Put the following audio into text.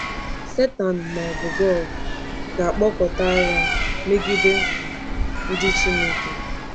Satan, ma ọ bụ Gog, ga-akpọkọta agha megide um ndị Chineke.